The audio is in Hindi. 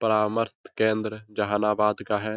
परामर्श केंद्र जहानाबाद का है।